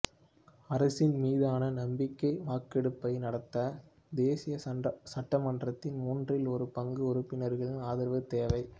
அரசின் மீதான நம்பிக்கை வாக்கெடுப்பை நடத்த தேசிய சட்டமன்றத்தின் மூன்றில் ஒரு பங்கு உறுப்பினர்களின் ஆதரவு தேவை